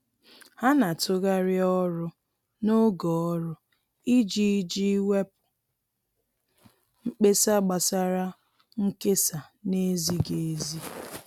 Ha na-atụgharị ọrụ n'oge ọrụ iji iji wepụ mkpesa gbasara nkesa na-ezighi ezi.